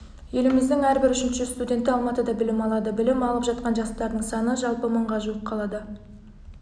еліміздің әрбір үшінші студенті алматыда білім алады білім алып жатқан жастардың саны жалпы мыңға жуық қалада